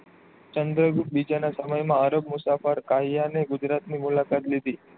ચંદ્રગુપ્તબીજા ના સમય માં અરબ મુસાફર કાયા ને ગુજરાત ની મુલાકાત લીધી.